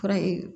Fura